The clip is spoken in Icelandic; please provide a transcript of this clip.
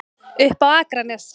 Upp á Akranes.